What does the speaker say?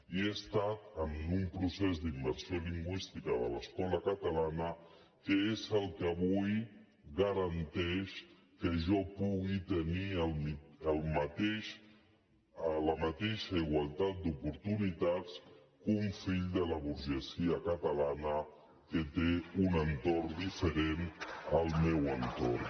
i he estat en un procés d’immersió lingüística de l’escola catalana que és el que avui garanteix que jo pugui tenir la mateixa igualtat d’oportunitats que un fill de la burgesia catalana que té un entorn diferent del meu entorn